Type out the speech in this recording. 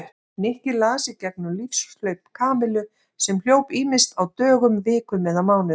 Nikki las í gegnum lífshlaup Kamillu sem hljóp ýmist á dögum, vikum eða mánuðum.